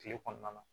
Kile kɔnɔna na